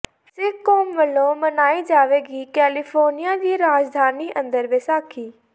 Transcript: ਸਿੱਖ ਕੌਮ ਵੱਲੋਂ ਮਨਾਈ ਜਾਵੇਗੀ ਕੈਲੀਫੋਰਨੀਆ ਦੀ ਰਾਜਧਾਨੀ ਅੰਦਰ ਵਿਸਾਖੀ